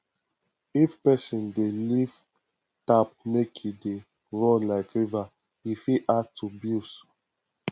if person dey leave tap make e dey run like river e fit add to bills